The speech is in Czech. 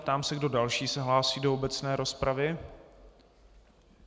Ptám se, kdo další se hlásí do obecné rozpravy.